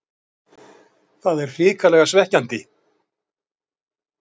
Það er hrikalega svekkjandi.